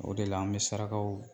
O de la an bɛ sarakaw